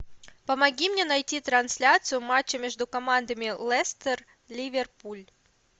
помоги мне найти трансляцию матча между командами лестер ливерпуль